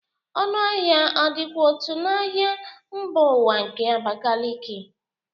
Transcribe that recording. Ọnụ ahịa ọ dịkwa otu n'ahịa mba ụwa nke Abakiliki?